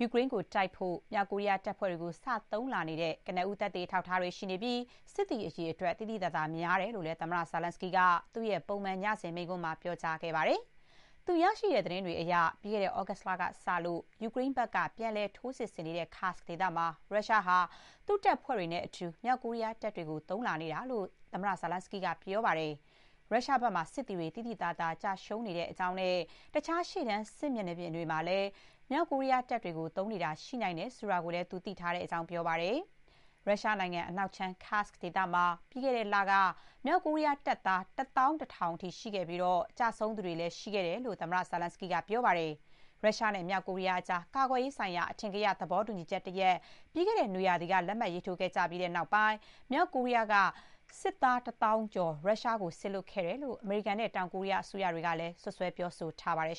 ယူကရိန်းကို တိုက်ဖို့ မြောက်ကိုရီးယား တပ်ဖွဲတွေကို စ သုံးလာနေတဲ့ ကနဦး သက်သေ အထောက်အထားတွေ ရှိနေပြီး စစ်သည် အရေအတွက် သိသိသာသာ များတယ်လို့လည်း သမ္မတ Zelenskyy က သူ့ရဲ့ ပုံမှန် ညစဥ်မိန့်ခွန်းမှာ ပြောကြားခဲ့ပါတယ်။ သူ ရရှိတဲ့ သတင်းတွေအရ ပြီးခဲ့တဲ့ သြဂုတ်လကစလို့ ယူကရိန်းဘက်က ပြန်လည် ထိုးစစ်ဆင်နေတဲ့ Kursk ဒေသမှာ ရုရှားဟာ သူ့တပ်ဖွဲ့တွေနဲ့အတူ မြောက်ကိုရီးယားတပ်တွေကို သုံးလာနေတာလို့ သမ္မတ Zelenskyy က ပြောပါတယ်။ ရုရုားဘက်မှာ စစ်သည်တွေ သိသိသာသာ ကျရှုံးနေတဲ့အကြောင်းနဲ့ တခြား ရှေ့တန်း စစ်မြေပြင်တွေမှာပါ မြောက်ကိုရီးယားတပ်တွေကို သုံးနေတာ ရှိနိုင်တယ်ဆိုတာကိုလည်း သူ သိထားရတဲ့အကြောင်း ပြောပါတယ်။ ရုရှားနိုင်ငံ အနောက်ခြမ်း Kursk ဒေသမှာ ပြီးခဲ့တဲ့လက မြောက်ကိုရီးယား တပ်သာ ၁၁,၀၀၀ အထိ ရှိခဲ့ပြီး ကျဆုံးသူတွေလည်း ရှိခဲ့တယ်လို့ သမ္မတ Zelenskyy က ပြောပါတယ်။ ရုရှားနဲ့ မြောက်ကိုရီးယားကြား ကာကွယ်ရေးဆိုင်ရာ အထင်ကရ သဘောတူညီချက်တရပ် ပြီးခဲ့တဲ့နွေရာသီက လက်မှတ် ရေးထိုး ခဲ့ကြပြီးနောက်ပိုင်း မြောက်ကိုရီးယားက စစ်သား ၁ သောင်းကျော် ရုရှားကို စေလွှတ်ခဲ့တယ်လို့ အမေရိကန်နဲ့ တောင်ကိုရီးယား အစိုးရတွေကလည်း စွပ်စွဲ ပြောဆိုထားကြပါတယ်